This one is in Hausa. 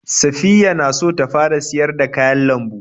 Saffiya na so ta fara siyar da kayan lambu.